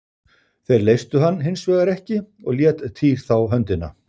Þeir leystu hann hins vegar ekki og lét Týr þá höndina.